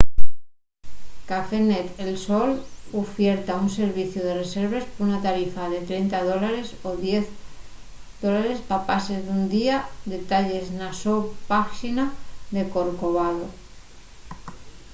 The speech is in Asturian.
cafenet el sol ufierta un serviciu de reserves por una tarifa de 30 us$ ó 10$ pa pases d’un día; detalles na so páxina de corcovado